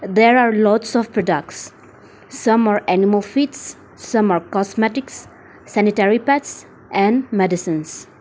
there are lots of products some are animal feeds summer are cosmetics sanitary pads and medicines.